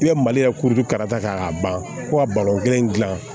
I bɛ maliya kuru karata k'a ban ko kelen dilan